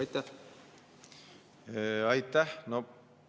Aitäh!